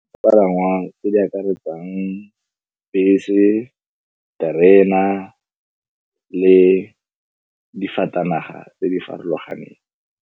Dipalangwa tse di akaretsang bese, terena le difatanaga tse di farologaneng.